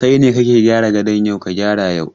Kai ne kake gyara gadon, ka gyara yau!